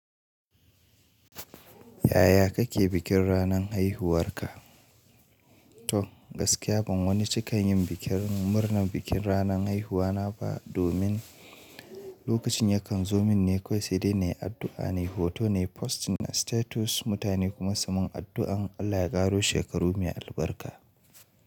Yaya kake bikin ranan haihuwar ka? To gaskiya ban wani cikan yin bikin murnar bikin ranan haihuwa na ba domin lokacin ya kan zo min ne kawai sai dai na yi addu'a, nai hoto na yi posting a status, mutane kuma su min addu'an Allah ya ƙaro shekaru mai albarka.